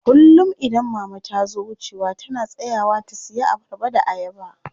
Kullum idan mama tazo wucewa tana tsayawa ta siya abarba da ayaba.